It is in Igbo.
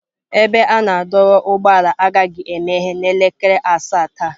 Ebe a na-adọba ụgbọala agaghị emeghe n'elekere asaa taa.